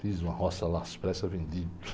Fiz uma roça lá, às pressas, vendi.